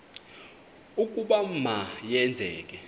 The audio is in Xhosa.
ukuba ma yenzeke